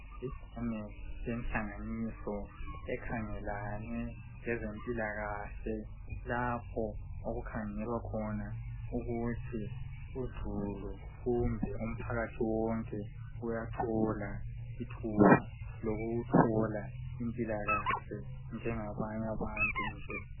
Libhakane lenhlanganiso ekhangelane lezempilakahle lapho okukhangelwa khona ukuthi uzulu kumbe umphakathi wonke uyathola ithuba lokuthola impilakahle njengabanye abantu nje